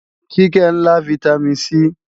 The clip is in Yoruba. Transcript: Kíkẹ́ ń lá Vitamin C